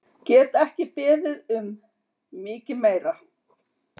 Get ekki beðið um mikið meira!